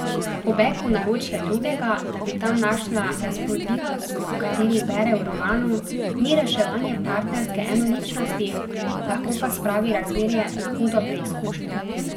Pobeg v naročje drugega, da bi tam našla razburljivost, o kateri bere v romanu, ni reševanje partnerske enoličnosti, lahko pa spravi razmerje na hudo preizkušnjo.